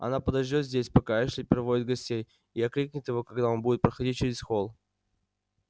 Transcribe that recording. она подождёт здесь пока эшли проводит гостей и окликнет его когда он будет проходить через холл